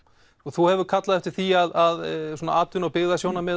þú hefur kallað eftir því að atvinnu og